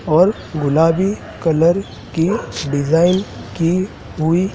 और गुलाबी कलर की डिजाइन की हुई--